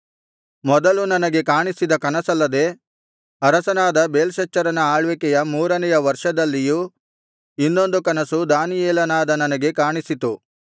ಮೊದಲು ನನಗೆ ಕಾಣಿಸಿದ ಕನಸಲ್ಲದೆ ಅರಸನಾದ ಬೇಲ್ಶಚ್ಚರನ ಆಳ್ವಿಕೆಯ ಮೂರನೆಯ ವರ್ಷದಲ್ಲಿಯೂ ಇನ್ನೊಂದು ಕನಸು ದಾನಿಯೇಲನಾದ ನನಗೆ ಕಾಣಿಸಿತು